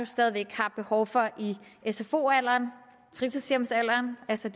stadig væk har behov for i sfo alderen fritidshjemsalderen altså